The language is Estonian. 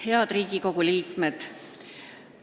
Head Riigikogu liikmed!